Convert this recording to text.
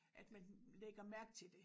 At man lægger mærke til det